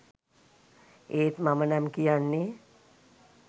ඒත් මමනම් කියන්නේ